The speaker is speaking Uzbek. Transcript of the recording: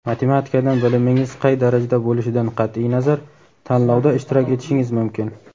Matematikadan bilimingiz qay darajada bo‘lishidan qat’iy nazar tanlovda ishtirok etishingiz mumkin.